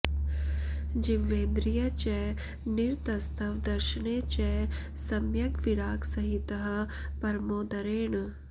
जिह्वेन्द्रिये च निरतस्तव दर्शने च सम्यग्विरागसहितः परमो दरेण